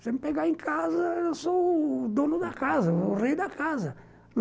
Você me pegar em casa, eu sou o dono da casa, o rei da casa.